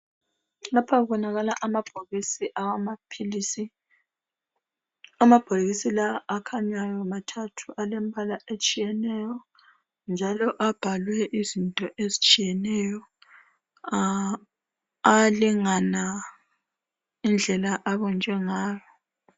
Lapha kubonakala amabhokisi awamaphilisi. Amabhokisi lawa akhanyayo mathathu alembala etshiyetshiyeneyo njalo abhalwe izinto ezitshiyeneyo. Alingana indlela abunjwe ngayo.